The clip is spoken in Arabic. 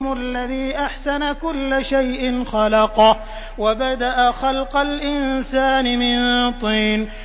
الَّذِي أَحْسَنَ كُلَّ شَيْءٍ خَلَقَهُ ۖ وَبَدَأَ خَلْقَ الْإِنسَانِ مِن طِينٍ